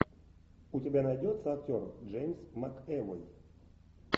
у тебя найдется актер джеймс макэвой